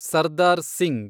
Sardar Singh